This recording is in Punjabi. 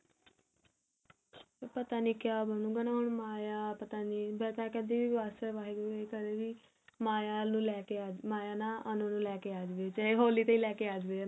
ਪਤਾ ਨੀ ਕਿਆ ਬ੍ਣੁਗਾ ਹੁਣ ਮਾਇਆ ਪਤਾ ਨੀ ਮੈਂ ਤਾਂ ਕਹਿੰਦੀ ਮਾਇਆ ਨੂੰ ਲੈਕੇ ਮਾਇਆ ਨਾ ਅਨੂ ਨੂੰ ਲੈਕੇ ਆ ਜਾਵੇ ਚਾਹੇ ਹੋਲੀ ਤੇ ਹੀ ਲੈਕੇ ਆ ਜਾਵੇ